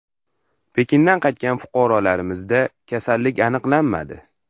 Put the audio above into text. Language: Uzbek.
Pekindan qaytgan fuqarolarimizda kasallik aniqlanmadi .